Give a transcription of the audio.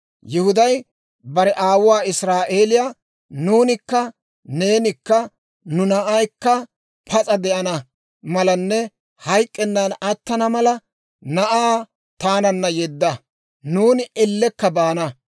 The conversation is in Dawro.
Yihuday bare aawuwaa israa'eeliyaa, «Nuunikka neenikka nu naanaykka pas'a de'ana malanne hayk'k'ennan attana mala, na'aa taananna yedda; nuuni ellekka baana.